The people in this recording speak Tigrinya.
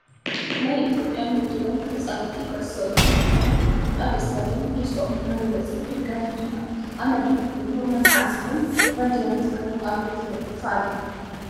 ናይ ኢትዮጵያ ንግድ ባንክ ተፃወቲ ኩዕሶ እግሪ ዝኮነ ኣብ እስታዴም ደስትኦም እናገለፁ ደጋፊ ድማ ኣብ መድረክ ኮይኑ እናተዓዘቦም ባንዴራ ትግራይ ኣብኡ ተለጢፋ ኣላ።